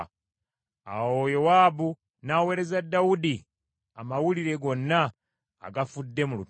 Awo Yowaabu n’aweereza Dawudi amawulire gonna agafudde mu lutalo,